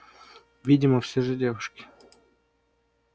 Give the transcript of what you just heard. видимо всё же девушки